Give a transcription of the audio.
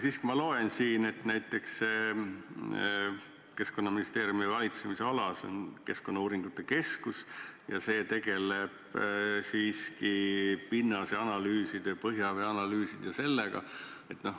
Jah, aga ma loen siit, et Keskkonnaministeeriumi valitsemisalas on Keskkonnauuringute Keskus ja see tegeleb siiski pinnase analüüside, põhjavee analüüside ja muu sellisega.